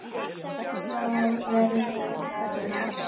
Hvað verður það næst?